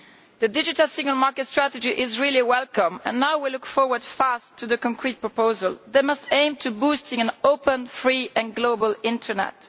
The Digital Single Market strategy is really welcome and now we look forward very soon to a concrete proposal that must aim at boosting an open, free and global internet.